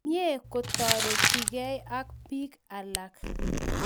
Mye ketoretkei ak piik alak